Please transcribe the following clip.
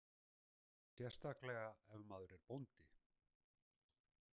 Sérstaklega ef maður er bóndi.